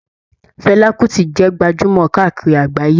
Fela Kuti jẹ gbajumọ káàkiri àgbáyé.